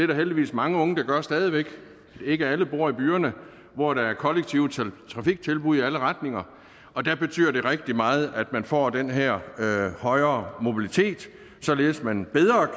der heldigvis mange unge der gør stadig væk ikke alle bor i byerne hvor der er kollektive trafiktilbud i alle retninger og der betyder det rigtig meget at man får den her højere mobilitet således at man bedre